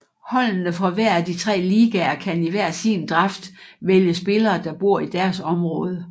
Holdene fra hver af de tre ligaer kan i hver sin draft vælge spillere der bor i deres område